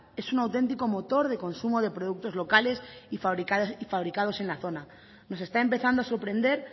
es un auténtico motor de consumo de productos locales y fabricados en la zona nos está empezando a sorprender